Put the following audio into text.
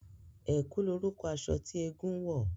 Ẹ̀kú lorúkọ aṣọ tí eégún ń wọ̀